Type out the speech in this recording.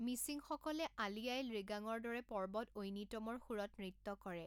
মিচিংসকলে আলি আঃয়ে লৃগাঙৰ দৰে পৰ্বত ঐনিতমৰ সুৰত নৃত্য কৰে।